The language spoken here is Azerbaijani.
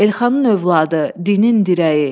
Elxanın övladı, dinin dirəyi.